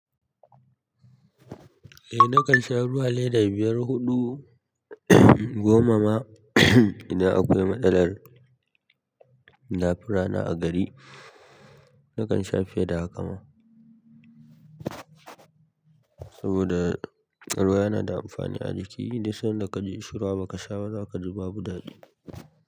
Eh nakan sha ruwa leda biyar huɗu goma ma idan akwai matsalan dafin rana a gari. Nakan sha fiye da haka ma. Saboda ruwa yana da amfani a jiki dik sanda kaji ishirwa baka sha ba zakaji buba daɗi.